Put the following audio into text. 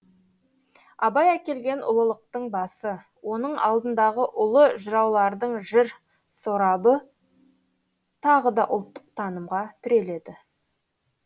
абай әкелген ұлылықтың басы оның алдындағы ұлы жыраулардың жыр сорабы тағы да ұлттық танымға тіреледі